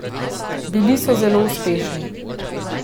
Bili so zelo uspešni.